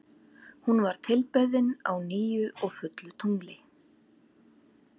Hún var tilbeðin á nýju og fullu tungli.